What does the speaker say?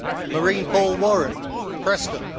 Marine Paul Warren, Preston